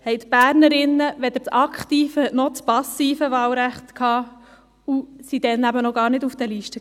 1970 hatten die Bernerinnen weder das aktive noch das passive Wahlrecht und standen damals eben noch gar nicht auf den Listen.